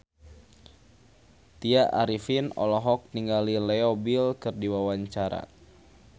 Tya Arifin olohok ningali Leo Bill keur diwawancara